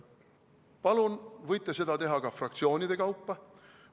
Palun, võite seda teha ka fraktsioonide kaupa.